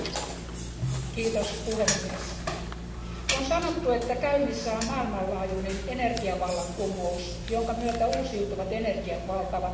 Arvoisa puhemies, on sanottu, että käynnissä on maailmanlaajuinen energiavallankumous, jonka myötä uusiutuvat energiat valtaavat markkinoita.